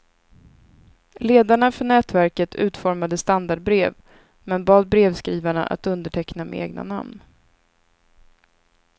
Ledarna för nätverket utformade standardbrev, men bad brevskrivarna att underteckna med egna namn.